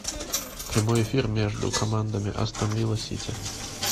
прямой эфир между командами астон вилла сити